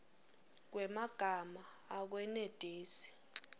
kwemagama akwenetisi